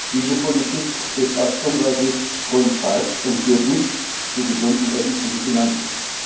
Diese Politik ist aus unserer Sicht grundfalsch und führt nicht zu gesunden öffentlichen Finanzen.